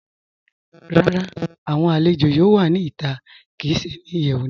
Rárá, awọn alẹ̀jọ yóò wà ní ìtà kí í ṣè ní ìyẹwu náà.